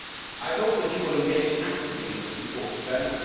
I hope that you will engage actively in this important event.